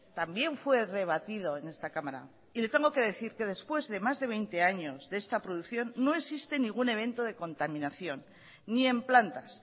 también fue rebatido en esta cámara y le tengo que decir que después de más de veinte años de esta producción no existe ningún evento de contaminación ni en plantas